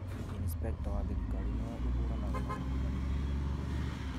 Inspecta wa thirikari nĩwe ũhũranaga na ungumania bũrũri-inĩ